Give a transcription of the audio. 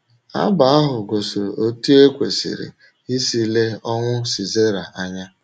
Abụ ahụ gosiri otú e kwesịrị isi lee ọnwụ Sisera anya.